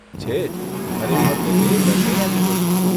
છે જ, ખરેખર તો તે દશેરા જેવો છે.